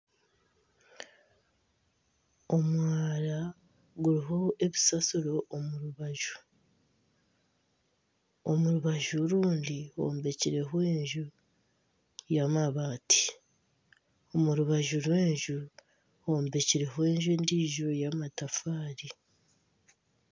Omwara guriho ebisaasiro omu rubaju, omu rubaju orundi hombekireho enju y'amaabati omu rubaju rw'enju hombekirweho enju endiijo ey'amatafaari.